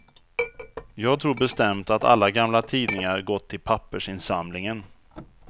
Jag tror bestämt att alla gamla tidningar gått till pappersinsamlingen.